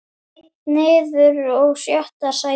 Einn niður og sjötta sætið.